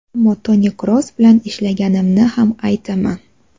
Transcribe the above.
Ammo Toni Kroos bilan ishlaganimni ham aytaman.